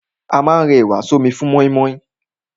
A ma rẹ ẹ̀wà sọ́mi fún mọ́ímọ́í.